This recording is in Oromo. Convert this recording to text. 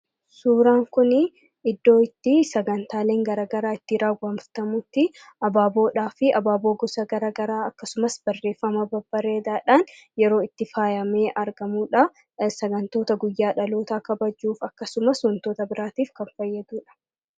Suuraan kunii iddoo itti sagantaaleen garagaraa itti raawwatamutti abaaboodhaa fi abaaboo gosa garagaraa akkasumas barreeffama babbareedaadhaan yeroo itti faayamee argamuu dhaa. Sagantoota guyyaa dhalootaa kabajuuf akkasumas wantoota biraatiif kan fayyadu dha.